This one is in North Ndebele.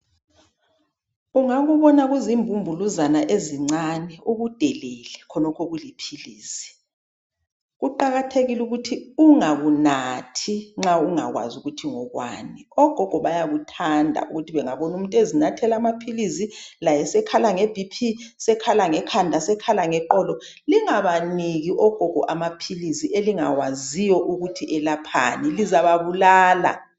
Ungakubona kuzimbumbuluzana ezincane ukudelele khonokhu okuliphilisi, Kuqakathekile ukuthi ungakunathi nxa ungakwazi ukuthi ngokwani. Ogogo bayakuthanda ukuthi bengabona umuntu ezinathela amaphilisi laye sekhala ngeBP, sekhala ngekhanda, sekhala ngeqolo. Lingabaniki ogogo amaphilisi elingawaziyo ukuthi elephani lizababulala.